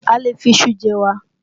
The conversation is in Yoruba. A lè fi iṣu jẹ́ ẹ̀wà